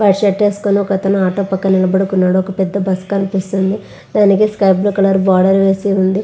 Red shirt వేసుకొని ఒక అతను ఆటో పక్కన నిలబడుకున్నాడు. ఒక పెద్ద బస్సు కనిపిస్తుంది. దానికి స్కై బ్లూ కలర్ బోర్డర్ వేసి ఉంది.